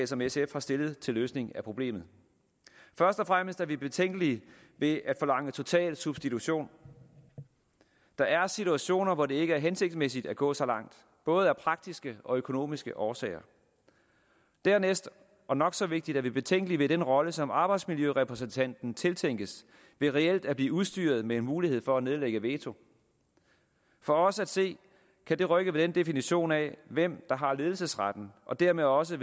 som sf har stillet til løsning af problemet først og fremmest er vi betænkelige ved at forlange total substitution der er situationer hvor det ikke er hensigtsmæssigt at gå så langt både af praktiske og af økonomiske årsager dernæst og nok så vigtigt er vi betænkelige ved den rolle som arbejdsmiljørepræsentanten tiltænkes ved reelt at blive udstyret med en mulighed for at nedlægge veto for os at se kan det rykke ved definitionen af hvem der har ledelsesretten og dermed også